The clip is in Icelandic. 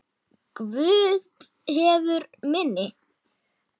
Guð hefur minni.